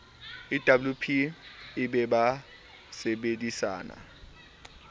ewp e be ba sebedisana